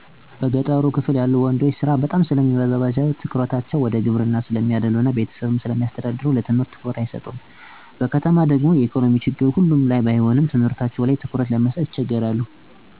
እንደ አካባቢየ በገጠሩ ክፍል ያሉ ወንዶች ስራ በጣም ስለሚሰሩ ትኩረታቸው ወደ ግብርናው ስለሚያዳሉ እና ቤተሰብ ስለሚያስተዳድሩ ሀላፊነት ስለሚበዛባቸው ለትምህርት ያላቸው ፍላጎት አነስተኛ ነው። በተጨማሪም በአካባቢው በቅርብ ርቀት የተሟላ ትምህርት ቤት አለመኖርም እንደ ምክንያት ይቆጠራል። በከተማው ደግሞ የኢኮኖሚ ችግር ሁሉም ባይሆኑ የትምህርት ቁሳቁስ እጥረት ያጋጥማቸዋል ከስንት አንዴ ደግሞ የቤተሰብ ችግር ለምሳሌ፦ ቤት ውስጥ እናት አባት ሲለያዩ ወይ በሒወት ሳይኖሩ ሲቀር ከትምህርት ገበታቸው ይርቃሉ። እራስ በራሳቸው ሰርተው ጥረው የሚማሩም ግን አሉ።